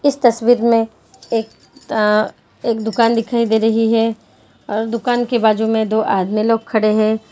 इस तस्वीर में एक आ एक दुकान दिखाई दे रही है और दुकान बाजु में दो आदमी लोग खड़े है।